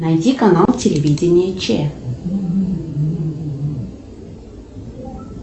найди канал телевидения че